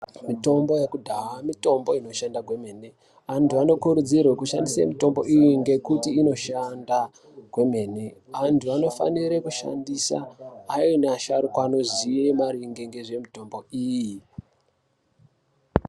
Mitombo yakudhaa mitombo inoshanda kwemene anthu anokurudzirwe kushandisa mitombo iyi ngekuti inoshanda kwemene anthu anofanire kushandise ayani asharukwa anoziya maringe ngezvemitombo iyi.